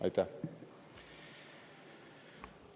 Aitäh!